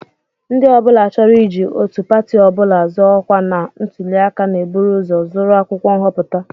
Ndị ọ bụla chọrọ iji otu pati ọ bụla zọọ ọkwa na ntụli aka na-eburu ụzọ zụrụ akwụkwọ nhọpụta